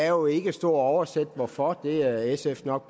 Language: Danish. jo ikke stå og oversætte hvorfor det er sf nok